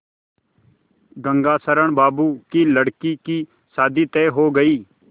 गंगाशरण बाबू की लड़की की शादी तय हो गई